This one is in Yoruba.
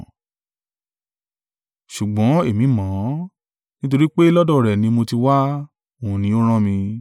Ṣùgbọ́n èmi mọ̀ ọ́n, nítorí pé lọ́dọ̀ rẹ̀ ni mo ti wá, òun ni ó rán mi.”